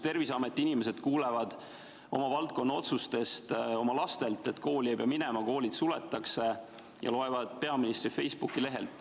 Terviseameti inimesed kuulevad oma valdkonna otsustest oma lastelt ja loevad peaministri Facebooki lehelt, et kooli ei pea minema, koolid suletakse.